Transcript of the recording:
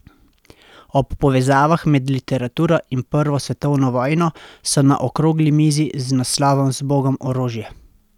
O povezavah med literaturo in prvo svetovno vojno so na okrogli mizi z naslovom Zbogom orožje?